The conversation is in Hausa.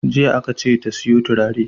Jiya aka ce ta siyo turare!